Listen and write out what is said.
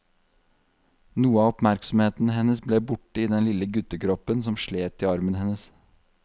Noe av oppmerksomheten hennes ble borte i den lille guttekroppen som slet i armen hennes.